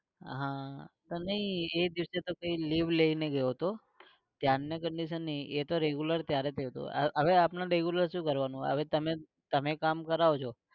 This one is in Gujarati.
હા પણ નઈ એ દિવસે તો કઈ leave લઇ ને ગયો. , એ તો regular ત્યરાએ થયો તો. હવે આપડે regular શું કરવાનું? હવે તમે, તમે કામ કરો છો